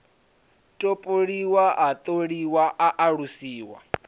topoliwa a tholiwa a alusiwa